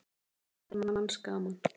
Maður er manns gaman.